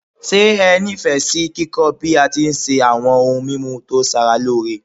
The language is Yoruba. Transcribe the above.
Se ẹ ni Ifẹ si kíkọ́ bi a ti n se awo̩n oun mimu to sara loore?